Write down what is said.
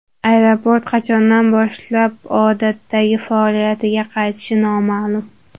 Aeroport qachondan boshlab odatdagi faoliyatiga qaytishi noma’lum.